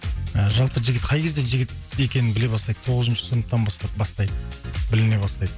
ы жалпы жігіт қай кезде жігіт екенін біле бастайды тоғызыншы сыныптан бастап бастайды біліне бастайды